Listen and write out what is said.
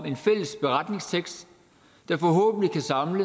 en fælles beretningstekst der forhåbentlig kan samle